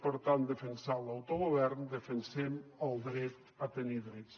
per tant defensant l’autogovern defensem el dret a tenir drets